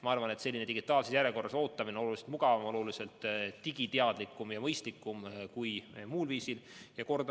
Ma arvan, et selline digitaalses järjekorras ootamine on oluliselt mugavam, oluliselt digiteadlikum ja mõistlikum kui muul viisil ootamine.